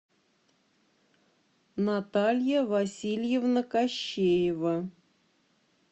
наталья васильевна кощеева